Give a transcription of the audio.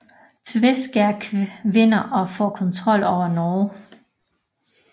Tveskæg vinder og får kontrol over Norge